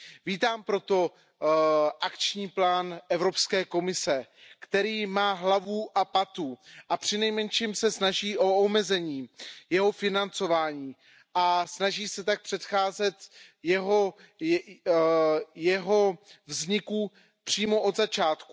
Vítám proto akční plán Evropské komise, který má hlavu a patu a přinejmenším se snaží o omezení jeho financování a snaží se tak předcházet jeho vzniku přímo od začátku.